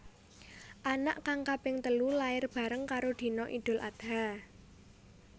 Anak kang kaping telu lair bareng karo dina Idul Adha